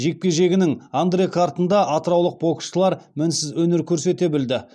жекпе жегінің андрекартында атыраулық боксшылар мінсіз өнер көрсете білді